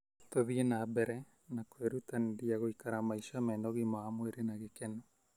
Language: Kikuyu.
Tũthiĩ na mbere na kwĩrutanĩria gũikara maica mena ũgima wa mwĩrĩ na gĩkeno.